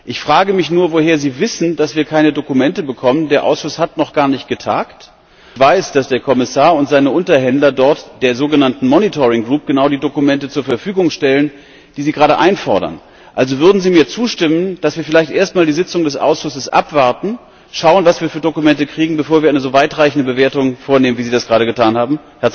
Ich frage mich nur, woher Sie wissen, dass wir keine Dokumente bekommen der Ausschuss hat noch gar nicht getagt. Ich weiß, dass der Kommissar und seine Unterhändler dort der sogenannten Monitoring Gruppe genau die Dokumente zur Verfügung stellen, die Sie gerade einfordern. Also würden Sie mir zustimmen, dass wir vielleicht erst einmal die Sitzung des Ausschusses abwarten, schauen, was für Dokumente wir kriegen, bevor wir eine so weitreichende Bewertung vornehmen, wie Sie das gerade getan haben?